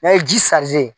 N'a ye ji